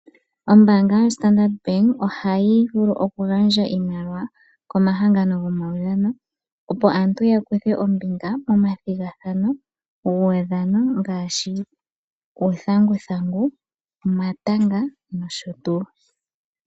Ombaanga yoStandard Bank ohayi vulu oku gandja iimaliwa komahangano gomaudhano. Opo aantu ya kuthe ombinga nomathigathano guudhano ngaashi uuthanguthangu, omatanga noshotuu.